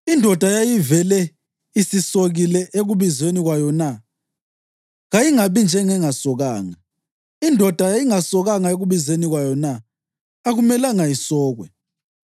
Indoda yayivele isisokile ekubizweni kwayo na? Kayingabi ngengasokanga. Indoda yayingasokanga ekubizweni kwayo na? Akumelanga isokwe.